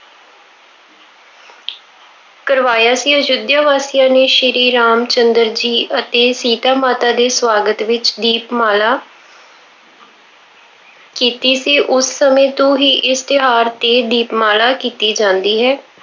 ਕਰਵਾਇਆ ਸੀ। ਅਯੁੱਧਿਆ ਵਾਸੀਆਂ ਨੇ ਸ਼੍ਰੀ ਰਾਮ ਚੰਦਰ ਜੀ ਅਤੇ ਸੀਤਾ ਮਾਤਾ ਦੇ ਸਵਾਗਤ ਵਿੱਚ ਦੀਪਮਾਲਾ ਕੀਤੀ ਸੀ। ਉਸ ਸਮੇਂ ਤੋਂ ਹੀ ਇਸ ਤਿਉਹਾਰ ਤੇ ਦੀਪਮਾਲਾ ਕੀਤੀ ਜਾਂਦੀ ਹੈ।